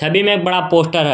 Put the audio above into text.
डिन एक बड़ा पोस्टर है।